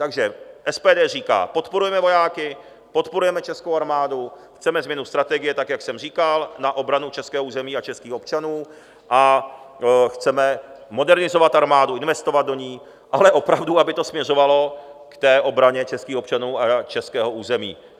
Takže SPD říká: Podporujeme vojáky, podporujeme českou armádu, chceme změnu strategie tak, jak jsem říkal, na obranu českého území a českých občanů a chceme modernizovat armádu, investovat do ní, ale opravdu, aby to směřovalo k té obraně českých občanů a českého území.